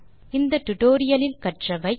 இந்த டுடோரியலில் கற்றவை 1